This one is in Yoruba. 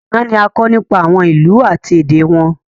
Àná ni a kọ nípa àwọn ìlú àti èdè wọn